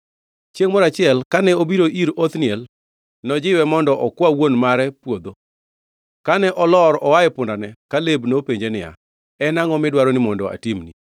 Chiengʼ moro achiel kane obiro ir Othniel, nojiwe mondo okwa wuon mare puodho. Kane olor oa e pundane, Kaleb nopenje niya, “En angʼo midwaro ni mondo atimni?”